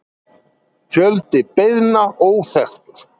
Fjöldi beiðna óþekktur